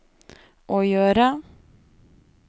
å gjøre